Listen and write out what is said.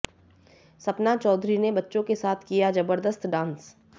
सपना चौधरी ने बच्चों के साथ किया जबरदस्त डांस